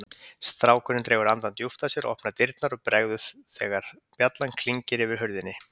Strákurinn dregur andann djúpt að sér, opnar dyrnar og bregður þegar bjallan klingir yfir hurðinni.